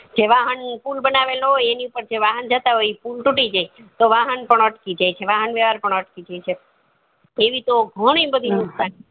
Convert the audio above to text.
જે વાહન pool બનાવેલો હોય એની ઉપર જે વાહન જતા હોય ઈ pool તૂટી જાય તો વાહન પણ અટકી જાય છે વાહન વ્યવહાર પણ અટકી જાય છે એવી તો ઘણી બધી નુકશાની